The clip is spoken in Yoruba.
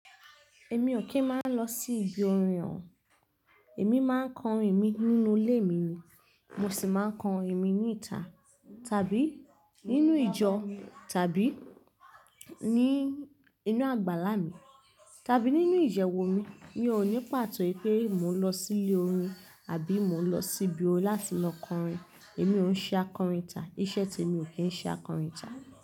Emi ò kí ń máa n lọ sí ibi orin o. Èmi máa ń kọrin mi nínú lé mi ni. Mo sì máa ń kọrin mi ní ìta tàbí nínú ìjọ tàbí ní inú àgbàlá mi tàbí nínú ìyẹ̀wu mi. Mi ò ní pàtó wipé mò ń lọ sí ilé orin àbí mò ń lọ sí ibo láti lọ kọrin. Èmi ò ń ṣe akọrin ìta. Iṣẹ́ tèmi ò kí ń ṣe akọrin ìta.